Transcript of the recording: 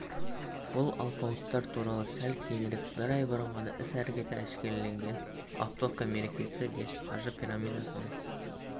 бұл алпауыттар туралы сәл кейінірек бір ай бұрын ғана іс-әрекеті әшкереленген оптовка мекемесі де қаржы пирамидасының